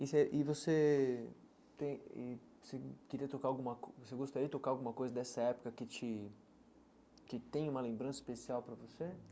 E você e você tem e você queria tocar alguma co você gostaria de tocar alguma coisa dessa época que te que tem uma lembrança especial para você?